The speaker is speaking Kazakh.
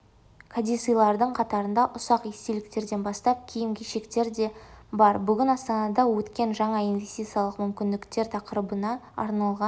кәдесыйлардың қатарында ұсақ естеліктерден бастап киім-кешектер де бар бүгін астанада өткен жаңа инвестициялық мүмкіндіктер тақырыбына арналған